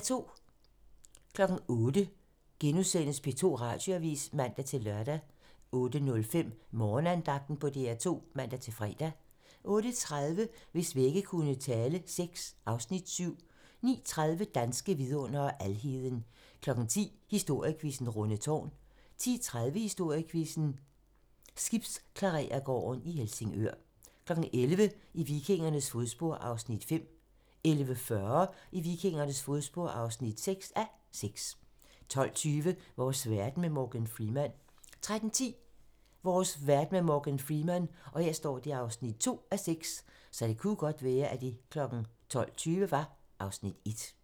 08:00: P2 Radioavis *(man-lør) 08:05: Morgenandagten på DR2 (man-fre) 08:30: Hvis vægge kunne tale VI (Afs. 7) 09:30: Danske vidundere: Alheden 10:00: Historiequizzen: Rundetårn 10:30: Historiequizzen: Skibsklarerergården i Helsingør 11:00: I vikingernes fodspor (5:6) 11:40: I vikingernes fodspor (6:6) 12:20: Vores verden med Morgan Freeman 13:10: Vores verden med Morgan Freeman (2:6)